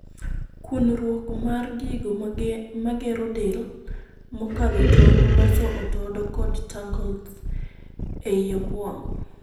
Kunruok mar gigo magero del mokadho tong' loso otodo kod 'tangles' ei obuongo.